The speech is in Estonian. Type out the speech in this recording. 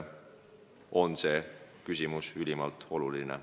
See on ülimalt oluline.